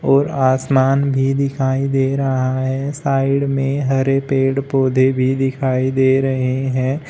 और आसमान भी दिखाई दे रहा है साइड में हरे पेड़ पौधे भी दिखाई दे रहे हैं।